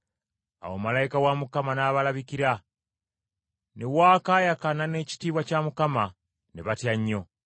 Awo malayika wa Mukama n’abalabikira, ne waakaayakana n’ekitiibwa kya Mukama, ne batya nnyo.